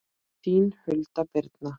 Þín Hulda Birna.